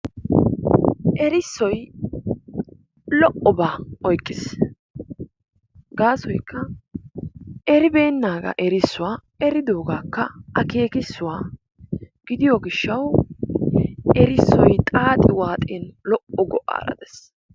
Erissoy lo"oba oyqqiis, gasoykka erbeennaagaa erisuwaa eridogaakka akekissuwa gidiyo gishshawu erssoy xaaxi waaxin lo"o go"aara dees.